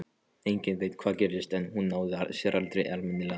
Enginn veit hvað gerðist en hún náði sér aldrei almennilega.